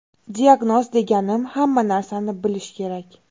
Diagnoz deganim, hamma narsani bilish kerak.